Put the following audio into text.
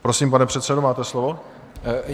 Prosím, pane předsedo, máte slovo.